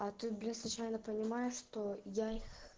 а ты бля случайно понимаешь что я их